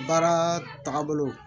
Baara tagabolo